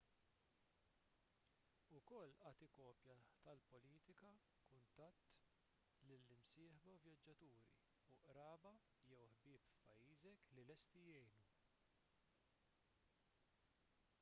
ukoll agħti kopji tal-politika/kuntatt lill-imsieħba vjaġġaturi u qraba jew ħbieb f'pajjiżek li lesti jgħinu